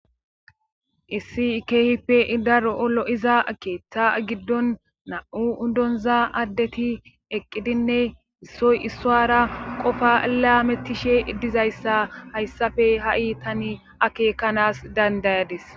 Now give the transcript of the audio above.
Issi ikehippe idaro olo iza akeeththa giddon na7u udonza addeti eqqidinne issoy issowara qofa laamettishe iddizayssa hayssafe ha7i tani akekanaas dandayadis